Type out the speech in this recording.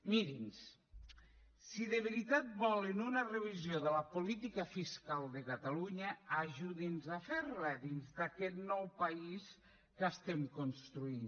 miri’ns si de veritat volen una revisió de la política fiscal de catalunya ajudi’ns a fer la dins d’aquest nou país que estem construint